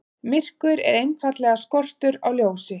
Myrkur er einfaldlega skortur á ljósi.